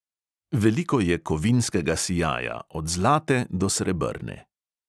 Veliko je kovinskega sijaja od zlate do srebrne.